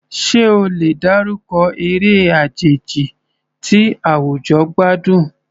Ṣé o lè dárúkọ eré àjèjì tí àwùjọ gbádùn?